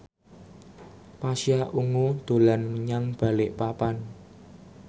Pasha Ungu dolan menyang Balikpapan